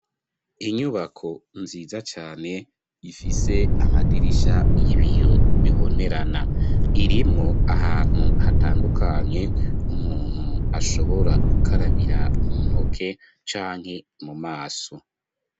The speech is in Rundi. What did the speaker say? Inyubako, nziza cane, ifise amadirisha y'ibiyo, bibonerana; irimwo ahantu, hatandukanye, umuntu ashobora, gukarabira, mu ntoke, canke mu maso.